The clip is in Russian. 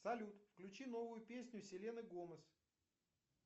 салют включи новую песню селены гомес